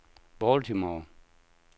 Baltimore